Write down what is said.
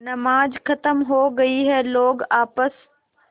नमाज खत्म हो गई है लोग आपस